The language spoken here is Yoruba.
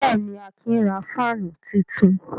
Bẹ́ẹ̀ ni, Akin ra fáánù tuntun.